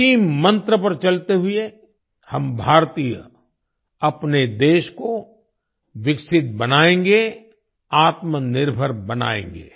इसी मंत्र पर चलते हुए हम भारतीय अपने देश को विकसित बनाएंगे आत्मनिर्भर बनाएंगे